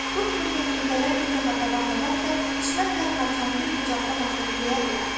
Bu kimi təfriqələr bir daha davam edərsə, düşmən hər parçanı bir bucaqda basıb yeyə bilər.